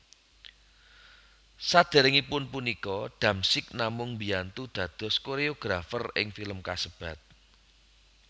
Saderengipun punika Damsyik namung mbiyantu dados koreografer ing film kasebat